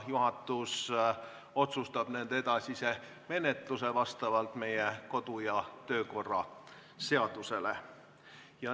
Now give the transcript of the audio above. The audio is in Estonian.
Juhatus otsustab nende edasise menetluse vastavalt meie kodu- ja töökorra seadusele.